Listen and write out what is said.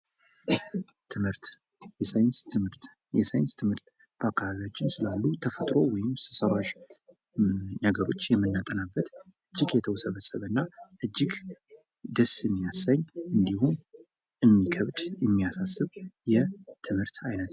ትምህርት የሳይንስ ትምህርት:- የሳይንስ ትምህርት በአካባቢያችን ስላሉ ተፈጥሮ ወይም ሰዉ ሰራሽ ነገሮች የምናጠናበት እጅግ የተዉሰበሰበ እና እጅግ ደስ የሚያሰኝ እንዲሁም እንዲከብድ የሚያሳስብ የትምህርት አይነት ነዉ።